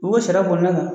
U sara kɔnɔna kan